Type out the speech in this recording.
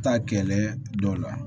Taa kɛlɛ dɔw la